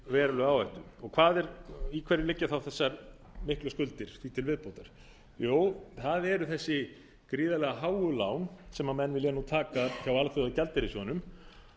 verulega áhættu í hverju liggja þá þessar miklu skuldir því til viðbótar jú það eru þessi gríðarlega háu lán sem menn vilja taka hjá alþjóðagjaldeyrissjóðnum